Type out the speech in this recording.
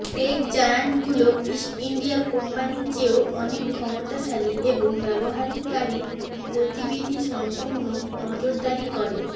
take জায়ান্টগুলো East India কম্পানির চেয়েও অনেক ক্ষমতাশালী এবং ব্যবহারকারীর গতিবিধি সম্পূর্ণ নজরদারি করে